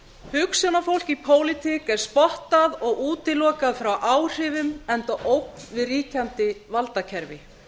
hugsjónafólk í pólitík er spottað og útilokað frá áhrifum enda ógn við ríkjandi valdakerfi